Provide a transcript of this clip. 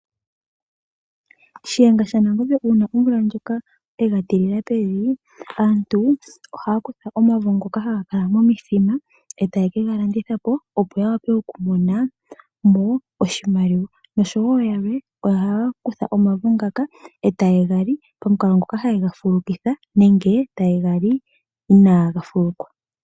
Shiyenga sha Nangombe uuna omvula ndjoka yega tilila pevi, aantu ohaya kutha omavo ngoka haga kala momadhiya etaye ke ga landitha po opo ya wape okumona mo oshimaliwa, noshowo yalwe ohaya kutha omavo ngaka eta ye ga li pamukalo ngoka haye ga fulukitha nenge taye ga li inaaga fuluka.